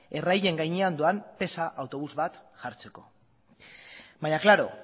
erraien gainean doan pesa autobus bat jartzeko baina klaro